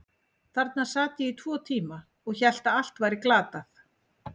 Þarna sat ég í tvo tíma og hélt að allt væri glatað.